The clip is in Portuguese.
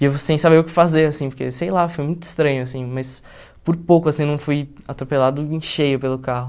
E eu sem saber o que fazer, assim, porque, sei lá, foi muito estranho, assim, mas por pouco, assim, não fui atropelado em cheio pelo carro.